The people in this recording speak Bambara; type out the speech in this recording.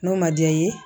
N'o ma diya i ye